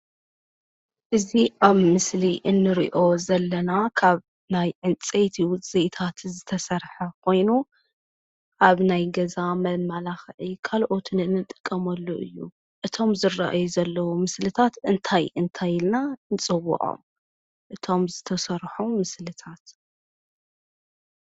እዚ ኣብ ምስሊ እንሪኦ ዘለና ካብ ናይ ዕንፀይቲ ዉፅኢታት ዝተሰርሐ ኾይኑ ኣብ ናይ ገዛ መመላኽዒ ካልኦትን እንጥቀመሉ እዩ። እቶም ዝርኣዩ ዘለዉ ምስልታት እንታይ እንታይ ኢልና ንፅዉዖም? እቶም ዝተሰርሑ ምስልታት...